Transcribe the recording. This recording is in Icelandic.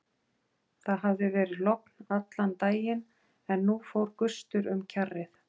Það hafði verið logn allan daginn en nú fór gustur um kjarrið.